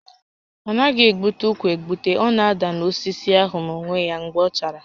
A naghị egbute ụkwa egbute, ọ na-ada n'osisi ahụ n'onwe ya mgbe ọ chara